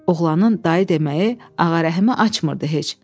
Oğlanın dayı deməyi Ağarəhimi açmırdı heç.